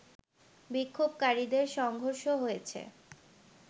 বিক্ষোভকারীদের সংঘর্ষ হয়েছে